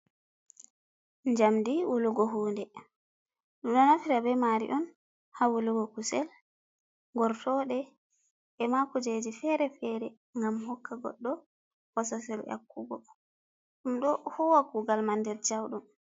Jamdi wulugo hude ɗum ɗo naftira be maari on ha wulugo kusel gortoɗe, e ma kujeji fere- fere gam hokka goɗɗo bososel yakugo, ɗum ɗo huwa kugal man nder jauɗum.